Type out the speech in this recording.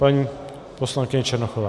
Paní poslankyně Černochová.